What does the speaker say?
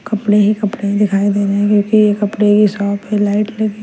कपड़े ही कपड़े दिखाई दे रहे हैं क्योंकि ये कपड़े की शॉप पे लाइट लगी --